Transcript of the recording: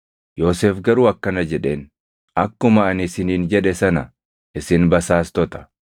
Yoosef garuu akkana jedheen; “Akkuma ani isiniin jedhe sana isin basaastota!